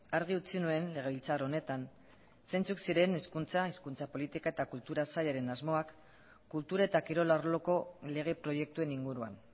argi utzi nuen legebiltzar honetan zeintzuk ziren hezkuntza hizkuntza politika eta kultura sailaren asmoak kultura eta kirol arloko lege proiektuen inguruan